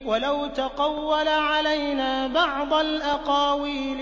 وَلَوْ تَقَوَّلَ عَلَيْنَا بَعْضَ الْأَقَاوِيلِ